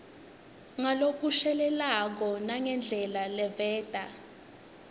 ngalokushelelako nangendlela leveta